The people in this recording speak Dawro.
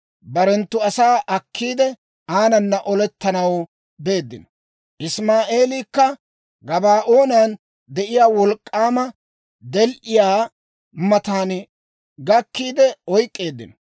Barenttu asaa akkiide, aanana olettanaw beeddino; Isimaa'eelakka Gabaa'oonan de'iyaa wolk'k'aama del"iyaa matan gakkiide oyk'k'eeddino.